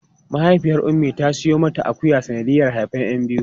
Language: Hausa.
Mahaifiyar Ummi ta siyo mata akuya sanadiyar haifan 'yan biyu.